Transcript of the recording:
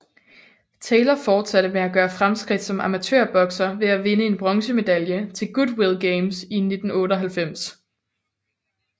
Taylor fortsatte med at gøre fremskridt som amatør bokser ved at vinde en bronze medalje til Goodwill Games i 1998